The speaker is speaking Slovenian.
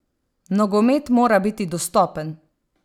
Nogomet mora biti dostopen!